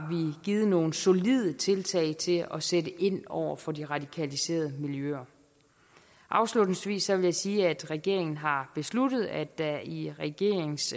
givet nogle solide tiltag til at sætte ind over for de radikaliserede miljøer afslutningsvis vil jeg sige at regeringen har besluttet at der i regeringens